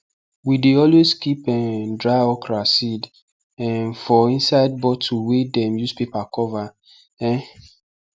we dey always keep um dry okra seed um for inside bottle wey dem use paper cover um